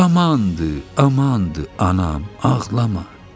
Amandı, amandı, anam, ağlama.